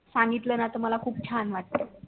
सांगितल ना तर मला खूप छान वाटते